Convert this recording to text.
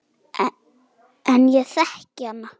En ég þekki hana.